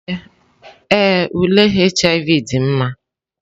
Ee, ule HIV dị mma.